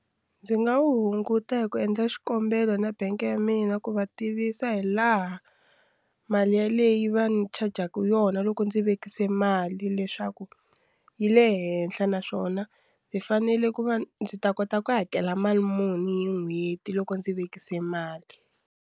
Ndzi nga wu hunguta hi ku endla xikombelo na bangi ya mina ku va tivisa hi laha mali yaleyi va ni chajaka yona loko ndzi vekisa mali leswaku yi le henhla naswona ndzi fanele ku va ndzi ta kota ku hakela mali muni hi n'hweti loko ndzi vekisa mali.